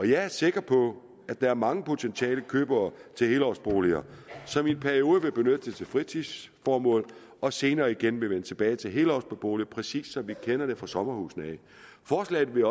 jeg er sikker på at der er mange potentielle købere til helårsboliger som i en periode vil benytte dem til fritidsformål og senere igen vil vende tilbage til helårsbeboelse præcis som vi kender det fra sommerhusene forslaget vil